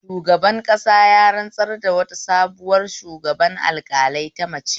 Shugaban ƙasa ya rantsar da sabuwar shugaban alƙalai ta mace